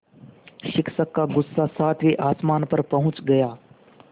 शिक्षक का गुस्सा सातवें आसमान पर पहुँच गया